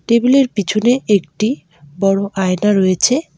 টেবিলের পিছনে একটি বড়ো আয়না রয়েছে।